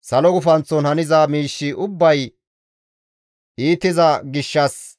Salo gufanththon haniza miishshi ubbay iitiza gishshas